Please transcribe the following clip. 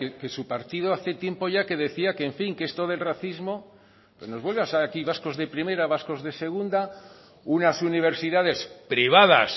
que su partido hace tiempo ya que decía que en fin que esto del racismo que nos vuelve aquí a vascos de primera vascos de segunda unas universidades privadas